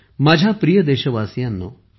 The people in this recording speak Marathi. माझ्या प्रिय देशवासीयांनो